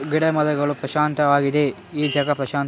ಗಿಡ ಮರಗಳು ಪ್ರಶಾಂತವಾಗಿದೆ ಈ ಜಗ ಪ್ರಶಾಂತ --